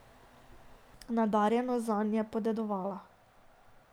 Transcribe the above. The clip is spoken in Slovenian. Nadarjenost zanj je podedovala.